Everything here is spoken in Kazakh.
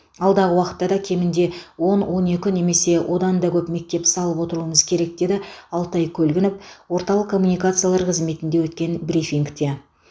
алдағы уақытта да кемінде он он екі немесе олдан да көп мектеп салып отыруымыз керек деді алтай көлгінов орталық коммуникациялар қызметінде өткен брифингте